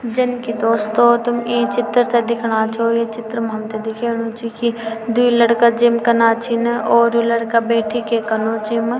जन की दोस्तों तुम ई चित्र थे दिखना छो ये चित्रम हमथे दिखेणु च की द्वि लड़का जिम कना छिन और यु लड़का बैठिके कनु च येम।